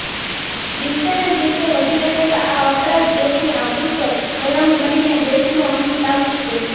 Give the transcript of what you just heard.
દિવસેને દિવસે વધી રહેલા આ અપરાધ દેશની આબરૂ પર કલંક બનીને દેશનો અંત લાવી દેશે